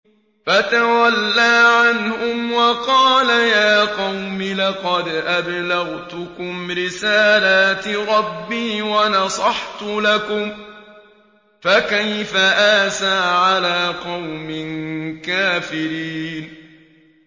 فَتَوَلَّىٰ عَنْهُمْ وَقَالَ يَا قَوْمِ لَقَدْ أَبْلَغْتُكُمْ رِسَالَاتِ رَبِّي وَنَصَحْتُ لَكُمْ ۖ فَكَيْفَ آسَىٰ عَلَىٰ قَوْمٍ كَافِرِينَ